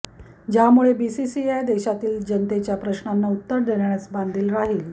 ज्यामुळे बीसीसीआय देशातील जनतेच्या प्रश्नांना उत्तर देण्यास बांधील राहील